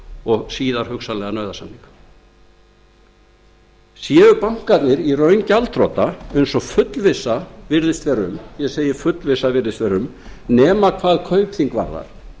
og síðar hugsanlega nauðasamninga séu bankarnir í raun gjaldþrota eins og fullvissa virðist vera um nema hugsanlega hvað kaupþing varðar